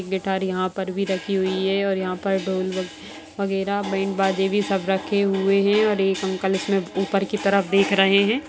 Guitar यहाॅं पर भी रखी हुई है और यहाँ पर ढोल वगैरा बैंड बाजे भी सब रखे हुए हैं और एक अंकल उसमें ऊपर की तरफ देख रहे हैं।